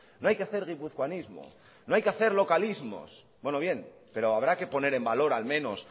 no hay que hacer guipuzcoanismo no hay que hacer localismos bueno bien pero habrá que poner en valor al menos